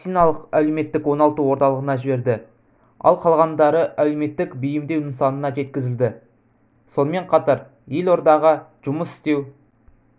медициналық-әлеуметтік оңалту орталығына жіберді ал қалғандары әлеуметтік бейімдеу нысанына жеткізілді сонымен қатар елордаға жұмыс істеу